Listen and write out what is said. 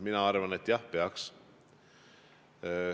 Mina arvan, et jah, peaks.